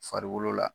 Farikolo la